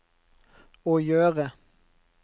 å gjøre